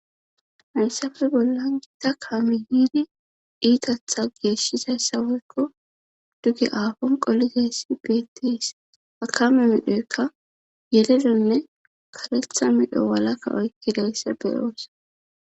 Hissafe bolla giita kaami yiidi diitatha geeshshizayssaweykko duge aafon qolizayssi beettiis hakame midhoykka yeledonne karetha midho walakka oykkideyssa beyoossa.